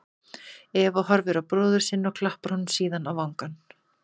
Eva horfir á bróður sinn og klappar honum síðan á vangann.